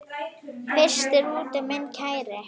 Frystir úti minn kæri.